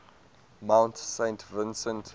mount saint vincent